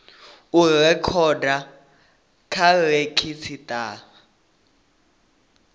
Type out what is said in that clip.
u rekhoda kha redzhisitara ya